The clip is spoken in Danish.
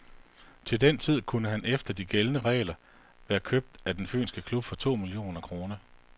Til den tid kunne han efter de gældende regler være købt af den fynske klub for to millioner kroner.